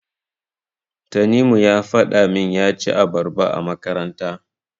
Tanimu ya faɗa min ya ci abarba a makaranta.